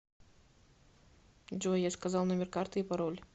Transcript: джой я сказал номер карты и пароль